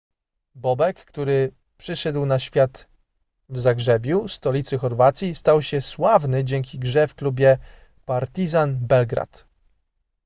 bobek który przyszedł na świat w zagrzebiu stolicy chorwacji stał się sławny dzięki grze w klubie partizan belgrad